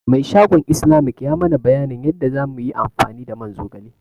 Mai shagon Islamic ya mana bayanin yanda za muyi amfani da man zogale.